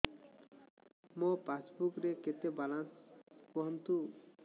ମୋ ପାସବୁକ୍ ରେ କେତେ ବାଲାନ୍ସ କୁହନ୍ତୁ